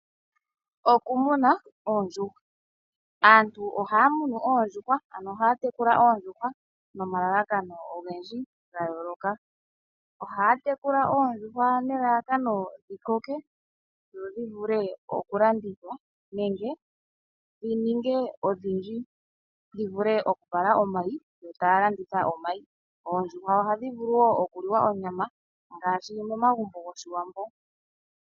Okumuna oodjuhwa. Aantu ohaya munu oondjuhwa nenge okudhi tekula nomalalakano ogedji gayooloka. tekula oodjuhwa nelalakano dhi koke nodhi vule okulandithwa nenge dhi ninge odhidji dhi vule okuvala omayi yo taya landitha omayi. Oodjuhwa ohadhi vulu wo okuliwa onyama ngaashi momagumbo gOshiwambo.